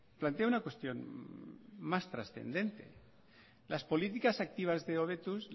plantea una cuestión más trascendente las políticas activas de hobetuz